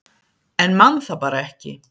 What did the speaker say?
en man það bara ekki